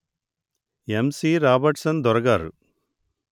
యమ్ C Robertson దొర గారు